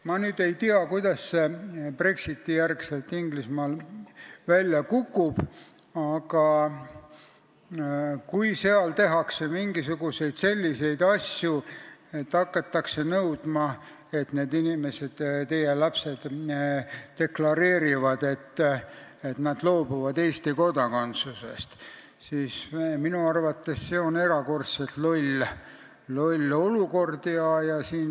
Ma ei tea, kuidas see Brexiti-järgsel Inglismaal välja kukub, aga kui seal hakatakse tegema mingisuguseid selliseid asju – hakatakse nõudma, et need inimesed, teie lapsed, peavad deklareerima, et nad loobuvad Eesti kodakondsusest –, siis oleks see minu arvates erakordselt loll olukord.